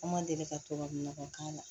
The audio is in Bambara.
An ma deli ka tubabu nɔgɔ k'a la